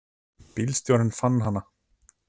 Bílstjórinn fann hana.